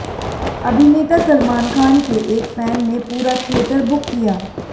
अभिनेता सलमान खान के एक फैन ने पूरा थिएटर बुक किया